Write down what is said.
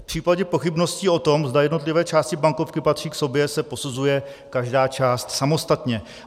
V případě pochybností o tom, zda jednotlivé části bankovky patří k sobě, se posuzuje každá část samostatně.